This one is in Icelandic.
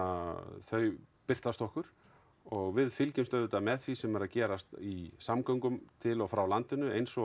þau birtast okkur og við fylgjumst auðvitað með því sem er að gerast í samgöngum til og frá landinu eins og